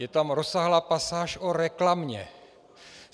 Je tam rozsáhlá pasáž o reklamě.